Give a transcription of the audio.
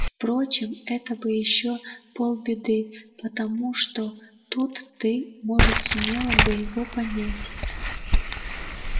впрочем это бы ещё полбеды потому что тут ты может сумела бы его понять